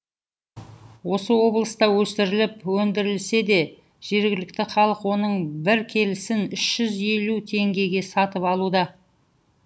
осы облыста өсіріліп өндірілсе де жергілікті халық оның бір келісін үш жүз елу теңгеге сатып алуда